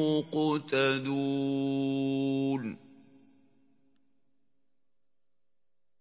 مُّقْتَدُونَ